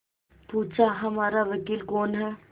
पूछाहमारा वकील कौन है